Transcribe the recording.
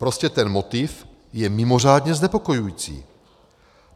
Prostě ten motiv je mimořádně znepokojující.